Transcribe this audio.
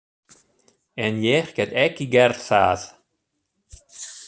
En ég get ekki gert það.